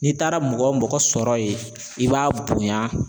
N'i taara mɔgɔ o mɔgɔ sɔrɔ ye i b'a bonya